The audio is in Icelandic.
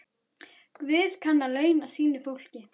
Guð kann að launa sínu fólki.